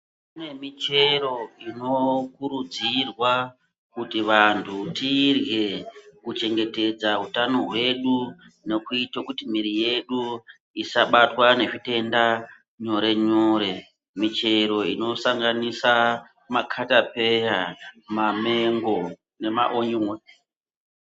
Kune michero ino kurudzirwa kuti vantu tirye ku chengetedza utano hwedu nokuite kuti mwiri yedu isabatwa nge zvitenda nyore nyore michero ino sanganisa makata peya ma mengo nema onyoni.